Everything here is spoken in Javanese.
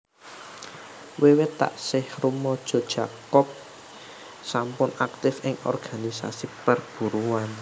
Wiwit taksih rumaja Jacob sampun aktif ing organisasi perburuhan